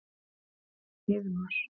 Heiðmar